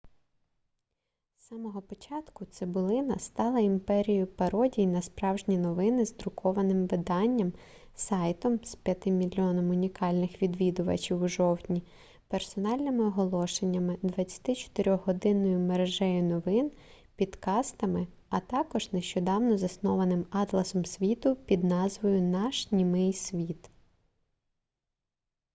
з самого початку цибулина стала імперією пародій на справжні новини з друкованим виданням сайтом з 5 000 000 унікальних відвідувачів у жовтні персональними оголошеннями 24-годинною мережею новин підкастами а також нещодавно заснованим атласом світу під назвою наш німий світ